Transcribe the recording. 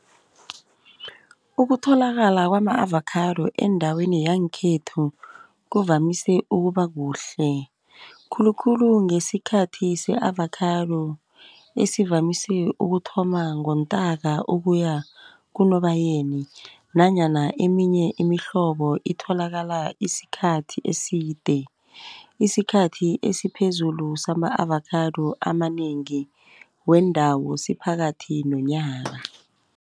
Ukutholakala kwama-avocado endaweni yangekhethu kuvamise ukuba kuhle. Khulukhulu ngesikhathi se-avocado esivamise ukuthoma ngoNtaka ukuya kuNobayeni, nanyana eminye imihlobo itholakala isikhathi eside. Isikhathi esiphezulu sama-avocado amanengi wendawo siphakathi nonyaka.